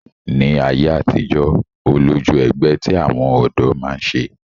Ní ayé àtijọ́, ó lójú ẹgbẹ́ tí àwọn ọ̀dọ́ máa ń ṣe